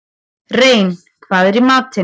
Rein, hvað er í matinn?